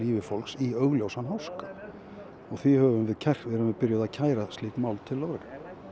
fólks í augljósan háska og því erum við byrjuð að kæra slík mál til lögreglu